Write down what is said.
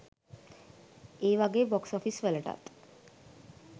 ඒවගේ box office වලටත්